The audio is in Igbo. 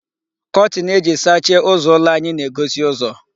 Kọtin eji sachie ụzọ ụlọ anyị na-egosi ụzọ.